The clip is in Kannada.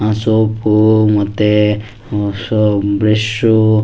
ಸೋಪ್ ಮತ್ತೆ ಹ್ಮ್ ಹೊಸ ಬ್ರಷ್ .